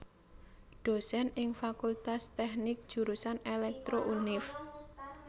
Dosen ing Fakultas Teknik Jurusan Elektro Univ